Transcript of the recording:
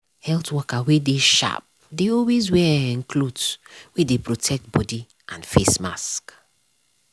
health worker wey sharp dey always wear um cloth wey dey protect body and face mask.